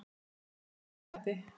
Hver er þessi litli skratti?